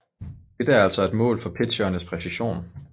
Dette er altså et mål for pitcherens præcision